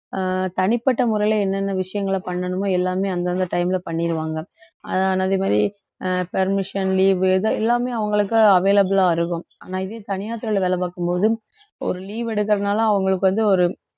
அஹ் தனிப்பட்ட முறையில என்னென்ன விஷயங்களை பண்ணணுமோ எல்லாமே அந்தந்த time ல பண்ணிருவாங்க அஹ் அதே மாதிரி அஹ் permission leave இது எல்லாமே அவங்களுக்கு available ஆ இருக்கும் ஆனா இதே தனியார் துறையில வேலை பார்க்கும் போது ஒரு leave எடுக்கறதுனால அவங்களுக்கு வந்து ஒரு